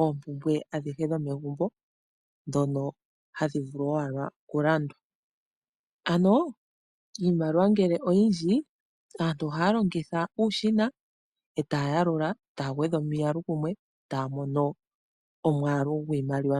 oompumbwe adhihe dhomegumbo ndhono hadhi vulu owala okulandwa. Ano, iimaliwa ngele oyindji, aantu ohaya longitha uushina, e taa yalula, taa gwedha omiyalu kumwe, taa mono omwaalu gwiimaliwa.